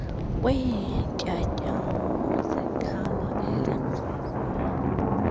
kweentyatyambo zekhala elikrakrayo